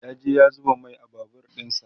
ya je ya zuba Mai a Babur ɗinsa